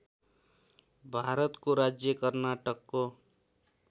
भारतको राज्य कर्नाटकको